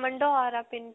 ਮੈਂ ਵਾਲਾ ਪਿੰਡ.